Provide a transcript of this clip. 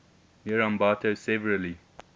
near ambato severely